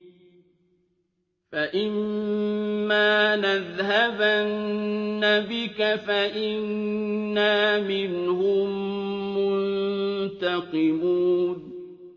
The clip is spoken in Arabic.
فَإِمَّا نَذْهَبَنَّ بِكَ فَإِنَّا مِنْهُم مُّنتَقِمُونَ